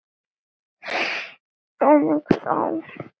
Eða hvað, Hulda?